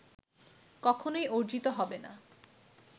কখনই অর্জিত হবে না